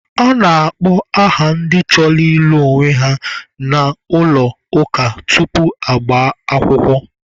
A na-akpọ aha ndị chọrọ ịlụ onwe ha n'ụlọ ụka tupu ha agbaa akwụkwọ.